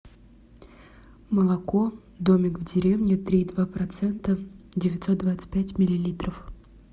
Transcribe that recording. молоко домик в деревне три и два процента девятьсот двадцать пять миллилитров